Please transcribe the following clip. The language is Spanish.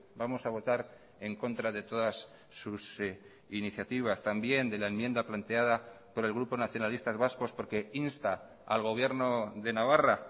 vamos a votar en contra de todas sus iniciativas también de la enmienda planteada por el grupo nacionalistas vascos porque insta al gobierno de navarra